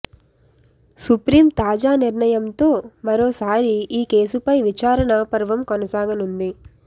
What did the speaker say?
supreme తాజా నిర్ణయంతో మరోసారి ఈ కేసుపై విచారణ పర్వం కొనసాగనుంది